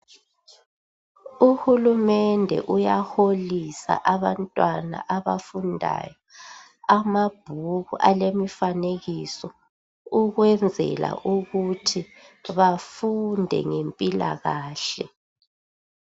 Uhulumende uyaholisa abantwana abafundayo amabhuku alemifanekiso ukwenzela ukuthi bafunde ngempilakahle.